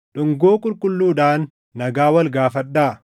Dhungoo qulqulluudhaan nagaa wal gaafadhaa.